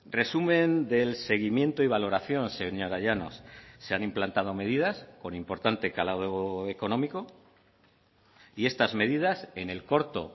resumen del seguimiento y valoración señora llanos se han implantado medidas con importante calado económico y estas medidas en el corto